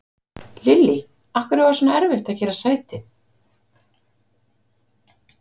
Lillý: Af hverju var svona erfitt að gera sætið?